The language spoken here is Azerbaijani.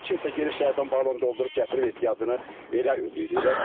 Kimsə gedib şəhərdən balon doldurub gətirib ehtiyacını elə ödəyir.